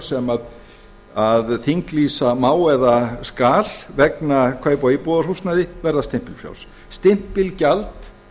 sem þinglýsa má eða skal vegna kaupa á íbúðarhúsnæði verða stimpilfrjáls stimpilgjald